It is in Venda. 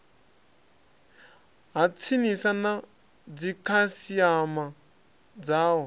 ha tsinisa na dzikhasiama dzao